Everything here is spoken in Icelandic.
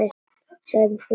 Sem hún hugsaði þannig.